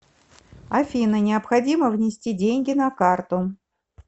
афина необходимо внести деньги на карту